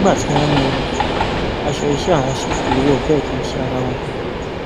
nígbà tí wọn mú un aṣọ iṣẹ àwọn sífù lọ wò bẹẹ kì í ṣe ara wọn